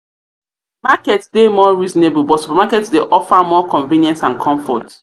dey more reasonable but supermarket dey offer more convenience and comfort.